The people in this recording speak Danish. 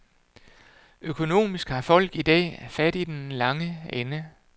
Økonomisk har folk i dag fat i den lange ende.